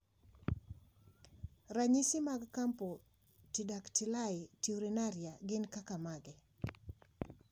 Ranyisi mag Camptodactyly taurinuria gin kaka mage?